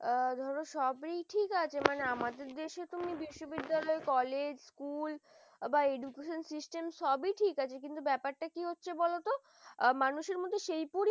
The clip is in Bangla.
এ ধরো সবই ঠিক আছে মানে আমাদের দেশে তো বেশি বিদ্যালয় college school বা edu education system সবি ঠিক আছে কিন্তু ব্যাপারটা কি হচ্ছে বলতো মানুষের মধ্যে সেই সেই পরিমাণ